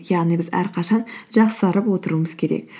яғни біз әрқашан жақсарып отыруымыз керек